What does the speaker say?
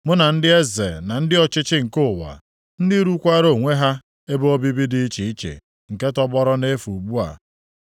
mụ na ndị eze na ndị ọchịchị nke ụwa, ndị rụkwaara onwe ha ebe obibi dị iche iche nke tọgbọọrọ nʼefu ugbu a,